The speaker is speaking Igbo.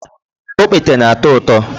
Okpete na ato uto